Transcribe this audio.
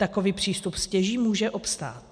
Takový přístup stěží může obstát.